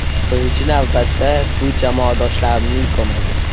Birinchi navbatda bu jamoadoshlarimning ko‘magi.